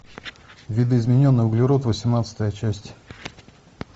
видоизмененный углерод восемнадцатая часть